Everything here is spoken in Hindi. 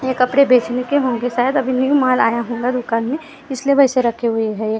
ये कपडे बेचने के होंगे शायद अभी न्यू माल आया होगा दुकान मैं इसलिए वैसे रखे हुए हैं ये कप।